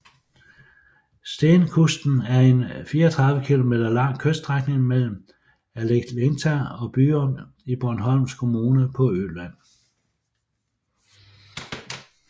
Stenkusten er en 34 kilometer lang kyststrækning mellem Äleklinta og Byrum i Borgholms kommune på Øland